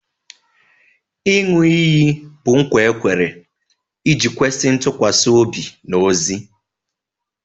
Ịṅụ iyi bụ nkwa e kwere iji kwesị ntụkwasị obi n'ozi